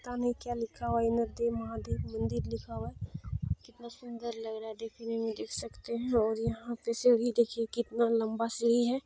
पता ने क्या लिखा हुआ है इंद्रदेव महादेव मंदिर लिखा हुआ है कितना सुंदर लग रहा है देखनें में देख सकते है और यहाँ पर सीढ़ी देखिए कितना लंबा सीढ़ी है।